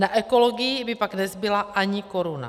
Na ekologii by pak nezbyla ani koruna.